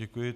Děkuji.